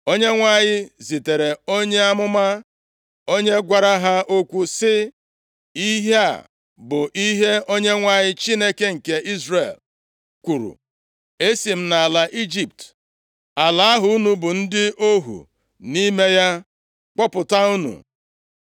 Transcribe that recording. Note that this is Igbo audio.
Onyenwe anyị zitere onye amụma, onye gwara ha okwu sị, “Ihe a bụ ihe Onyenwe anyị Chineke nke Izrel kwuru, Esi m nʼala Ijipt, ala ahụ unu bụ ndị ohu nʼime ya, kpọpụta unu.